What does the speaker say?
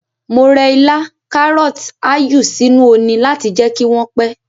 Mo rẹ ilá, karọt, áyù sínú oni láti jẹ́ kí wọ́n pẹ́.